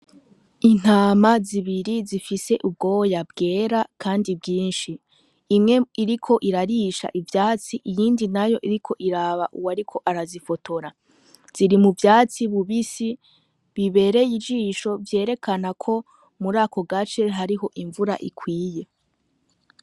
Intama zibiri zifise ubwoya bwera kandi bwinshi, imwe iriko irarisha ivyatsi iyindi nayo iriko iraba uwuriko arazifotora, ziri mu vyatsi bibisi bibereye ijisho vyerekana ko muri ako gace hariho imvura ikwiye.